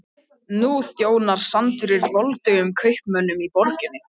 Nú þjónar sandurinn voldugum kaupmönnunum í borginni.